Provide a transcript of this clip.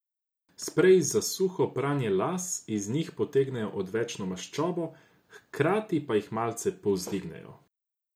Spreji za suho pranje las iz njih potegnejo odvečno maščobo, hkrati pa jih malce privzdignejo.